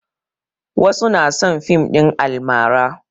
Wasu na son fim ɗin almara.